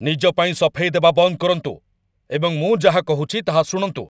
ନିଜ ପାଇଁ ସଫେଇ ଦେବା ବନ୍ଦ କରନ୍ତୁ ଏବଂ ମୁଁ ଯାହା କହୁଛି ତାହା ଶୁଣନ୍ତୁ।